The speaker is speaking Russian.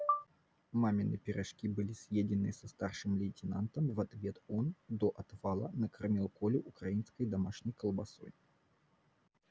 мамины пирожки были съедены со старшим лейтенантом в ответ он до отвала накормил колю украинской домашней колбасой